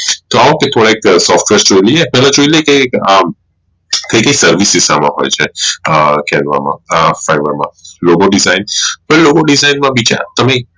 કે એક Service દિશા માં હોઈ છે એ લોકો ની side માં બી છે તમે